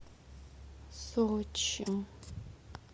сочи